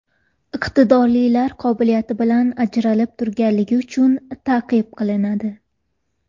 Iqtidorlilar qobiliyati bilan ajralib turganligi uchun ta’qib qilinadi.